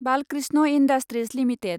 Balkrishna Industries limited